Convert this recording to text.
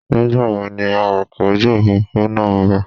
Nígbàwo ni awakọ̀ ojú òfurufú náà ń bò?